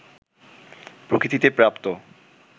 প্রকৃতিতে প্রাপ্ত